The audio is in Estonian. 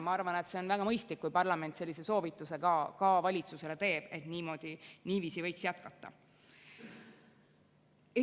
Ma arvan, et see on väga mõistlik, kui parlament sellise soovituse ka valitsusele teeb, et niiviisi võiks jätkata.